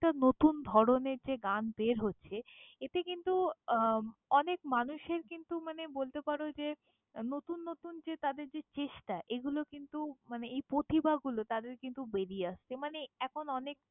~নেকটা নতুন ধরনের যে গান বের হচ্ছে, এতে কিন্তু আহ অনেক মানুষের কিন্তু মানে বলতে পারো যে নতুন নতুন যে তাদের যে চেষ্টা এগুলো কিন্তু মানে এই প্রতিভাগুলো তাদের কিন্তু বেরিয়ে আসছে।